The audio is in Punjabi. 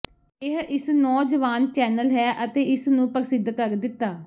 ਇਹ ਇਸ ਨੌਜਵਾਨ ਚੈਨਲ ਹੈ ਅਤੇ ਇਸ ਨੂੰ ਪ੍ਰਸਿੱਧ ਕਰ ਦਿੱਤਾ